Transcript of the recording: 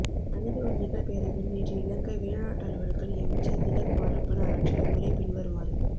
மனித உரிமைகள் பேரவையில் நேற்று இலங்கை வெளிநாட்டலுவல்கள் அமைச்சர் திலக் மாரப்பன ஆற்றிய உரை பின்வருமாறு